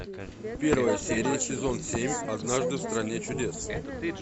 первая серия сезон семь однажды в стране чудес